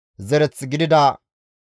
Zaato zereththafe 845;